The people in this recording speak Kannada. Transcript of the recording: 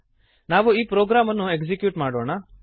ನಾವು ಈ ಪ್ರೋಗ್ರಾಮನ್ನು ಎಕ್ಸೀಕ್ಯೂಟ್ ಮಾಡೋಣ